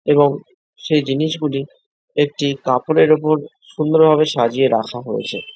এবং সেই জিনিসগুলি একটি কাপড়ের উপর সুন্দরভাবে সাজিয়ে রাখা হয়েছে।